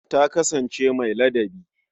Ta kasansance mai ladabi.